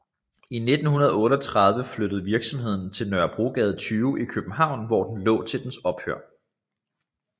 I 1938 flyttede virksomheden til Nørregade 20 i København hvor den lå til dens ophør